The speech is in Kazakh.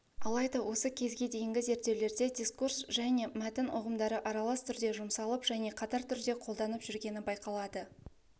алайда осы кезге дейінгі зерттеулерде дискурс және мәтін ұғымдары аралас түрде жұмсалып және қатар түрде қолданып жүргені байқалады